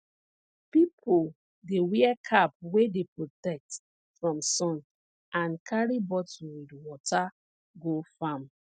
pipo dey wear cap wey dey protect from sun and carry bottle with water go farm